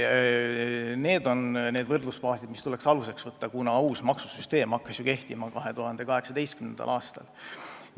Need on need aastad, mis tuleks võrdlemiseks võtta, kuna uus maksusüsteem hakkas ju kehtima 2018. aastal.